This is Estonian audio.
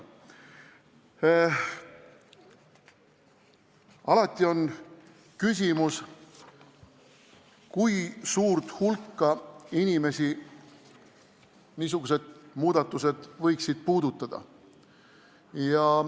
Alati on küsimus, kui suurt hulka inimesi pakutav muudatus võiks puudutada.